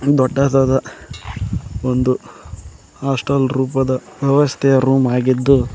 ದೊಡ್ಡದಾದ ಒಂದು ಹಾಸ್ಟೆಲ್ ರೂಪದ ವ್ಯವಸ್ಥೆಯ ರೂಂ ಆಗಿದ್ದು--